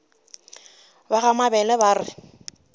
ba ga mabele ba re